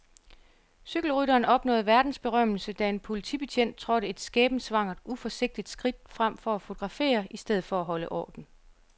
Cykelrytteren opnåede verdensberømmelse, da en politibetjent trådte et skæbnesvangert, uforsigtigt skridt frem for at fotografere i stedet for at holde orden.